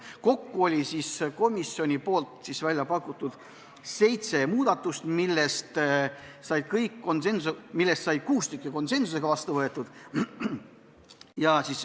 Kokku oli komisjonil välja pakutud seitse muudatust, millest kuus konsensuslikult vastu võeti.